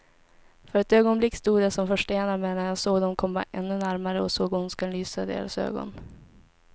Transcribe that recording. För ett ögonblick stod jag som förstenad, medan jag såg dem komma ännu närmare och såg ondskan lysa i deras ögon.